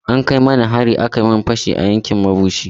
An kai mani hari aka yi min fashi a yankin mabushi.